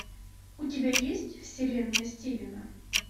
у тебя есть вселенная стивена